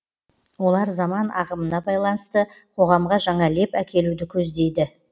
олар заман ағымына байланысты қоғамға жаңа леп әкелуді көздейді